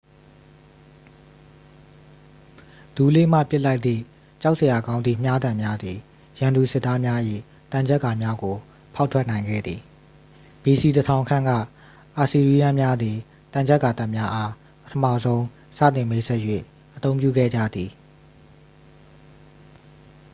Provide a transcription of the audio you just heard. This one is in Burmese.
ဒူးလေးမှ ပစ်လိုက်သည့် ကြောက်စရာကောင်းသည့် မြားတံများသည် ရန်သူစစ်သားများ၏ သံချပ်ကာများကို ဖောက်ထွက်နိုင်ခဲ့သည် ဘီစီ 1000 ခန့်က အာစီးရီးယန်းများသည် သံချပ်ကာတပ်များအား ပထမဆုံးစတင် မိတ်ဆက်၍ အသုံးပြုခဲ့ကြသည်